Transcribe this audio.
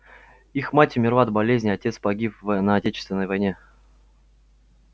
их мать умерла от болезни отец погиб в на отечественной войне